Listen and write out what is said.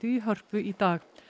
í Hörpu í dag